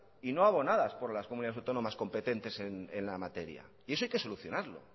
y no abonadas por las comunidades autónomas competentes en la materia y eso hay que solucionarlo